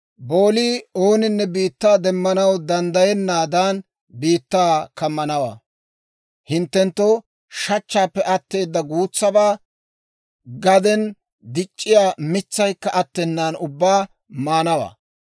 boolii ooninne biittaa demmanaw danddayennaadan biittaa kammanawaa. Hinttenttoo shachchaappe atteeda guutsabaa, gaden dic'c'iyaa mitsaykka attenaan ubbaa maanawaa.